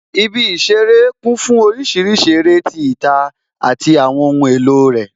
Ibi ìṣeré kún fún orísìírísìí eré títa àti àwọn ohun èlò rẹ